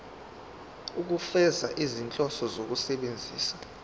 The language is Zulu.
ukufeza izinhloso zokusebenzisa